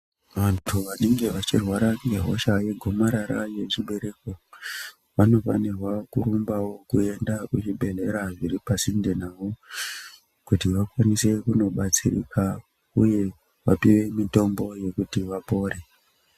Vantu vanenge vachirwara ngehosha yegomarara yezvibereko vanofanirwa kurumbawo kuenda kuzvibhedhlera zviri pasinde navo kuti vakwanise kundodetsereka uye kuvape mutombo yekuti vapore